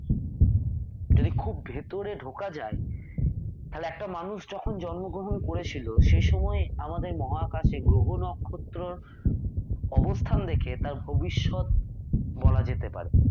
যদি খুব ভেতরে ঢোকা যায় তাহলে একটা মানুষ যখন জন্মগ্রহন করেছিল সে সময়ে আমাদের মহাকাশে গ্রহ নক্ষত্রর অবস্থান দেখে তার ভবিষ্যৎ বলা যেতে পারে।